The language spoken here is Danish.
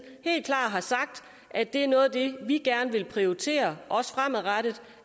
helt klart har sagt at det er noget af det vi gerne vil prioritere også fremadrettet